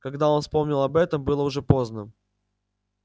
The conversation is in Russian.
когда он вспомнил об этом было уже поздно